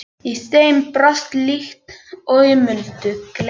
Í þeim brast líkt og í muldu gleri.